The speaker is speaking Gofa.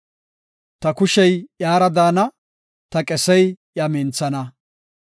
Ta kushe iyara daana; ta qesey iya minthana.